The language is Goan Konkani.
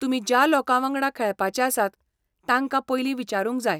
तुमी ज्या लोकांवांगडा खेळपाचे आसात तांकां पयलीं विचारूंक जाय.